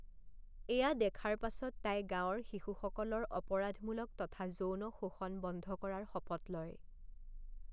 এয়া দেখাৰ পাছত তাই গাঁৱৰ শিশুসকলৰ অপৰাধমূলক তথা যৌন শোষণ বন্ধ কৰাৰ শপত লয়।